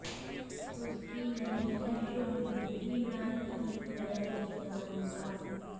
उसकी नहीं है शुद्ध बुद्धि न ठीक वह कुछ जानता